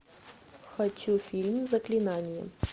хочу фильм заклинание